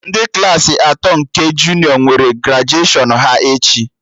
Ndị Klassị atọ nke junịọ nwere grajuashọn ha echi